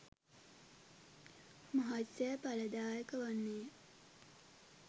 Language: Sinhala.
මහත් සේ ඵලදායක වන්නේ ය.